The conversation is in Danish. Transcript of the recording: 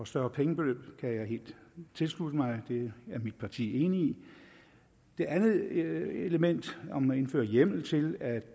større pengebeløb kan jeg helt tilslutte mig det er mit parti enig i det andet element om at indføre hjemmel til at